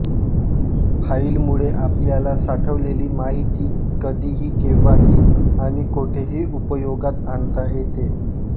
फाइलमुळे आपल्याला साठवलेली माहिती कधीही केंव्हाही आणि कोठेही उपयोगात आणता येते